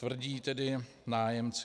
Tvrdí tedy nájemci.